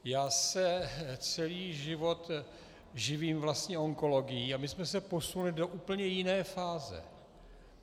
Já se celý život živím vlastně onkologií a my jsme se posunuli do úplně jiné fáze.